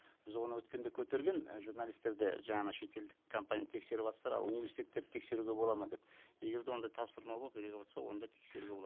біз оны өткенде көтерген і журналистер де жаңа шетелдік компания тексеріватсыздар ал университеттерді тексеруге болады ма деп егер де ондай тапсырма болып беріліватса онда тексеруге болады